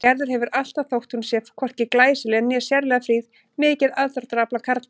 Gerður hefur alltaf, þótt hún sé hvorki glæsileg né sérlega fríð, mikið aðdráttarafl á karlmenn.